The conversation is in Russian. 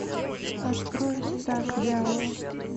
открой стаж дьявола